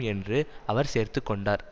என்று அவர் சேர்த்து கொண்டார்